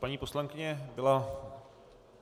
Paní poslankyně byla...